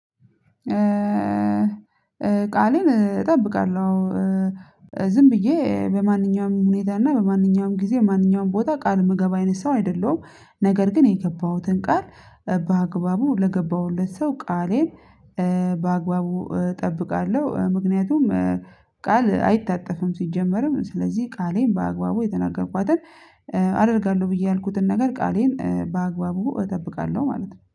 ቃሌን እጠብቃለሁ። ዝም ብዬ በማንኛውም ሁኔታ እና በማንኛውም ጊዜ ማንኛውም ቦታ ቃል ምገባ አይነት ሰው አይደለሁም ነገር ግን የገባሁትን ቃል በአግባቡ ለገባሁለት ሰው ቃሌን በአግባቡ እጠብቃለሁ። ምክንያቱም ቃል አይታጠፍም። ሲጀመርም ስለዚህ ቃሌን በአግባቡ የተናገርኳትን አደርጋለሁ ብዬ ያልኩትን ነገር ቃሌን በአግባቡ እጠብቃለሁ ማለት ነው